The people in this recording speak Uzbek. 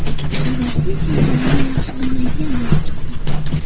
U Rossiya chegaralarini yaxshi bilmaydigan bo‘lib chiqdi.